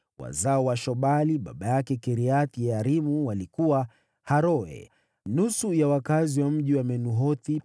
Wazao wa Shobali, baba yake Kiriath-Yearimu, walikuwa: Haroe, nusu ya wakazi wa mji wa Menuhothi,